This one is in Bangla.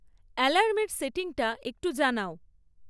অ্যালার্মের সেটিংটা একটু জানাও